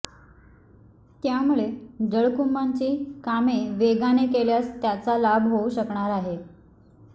त्यामुळे जलकुंभांची कामे वेगाने केल्यास त्याचा लाभ होऊ शकणार आहे